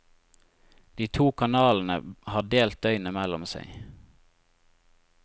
De to kanalene har delt døgnet mellom seg.